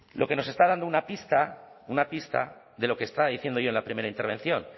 lo que nos está dando una pista una pista de lo que estaba diciendo yo en la primera intervención